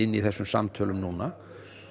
í þessum samtölum núna